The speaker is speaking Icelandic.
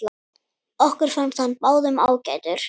Okkur fannst hann báðum ágætur.